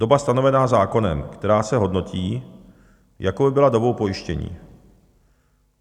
Doba stanovená zákonem, která se hodnotí, jako by byla dobou pojištění.